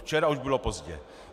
Včera už bylo pozdě.